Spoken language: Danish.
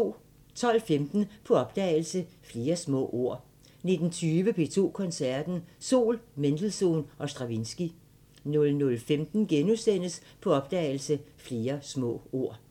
12:15: På opdagelse – Flere små ord 19:20: P2 Koncerten – Sol, Mendelssohn & Stravinskij 00:15: På opdagelse – Flere små ord *